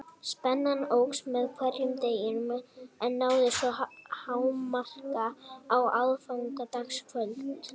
Spennan óx með hverjum deginum en náði svo hámarki á aðfangadagskvöld.